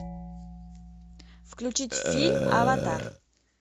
включить фильм аватар